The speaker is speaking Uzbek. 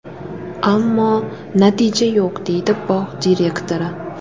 Ammo natija yo‘q”, deydi bog‘ direktori.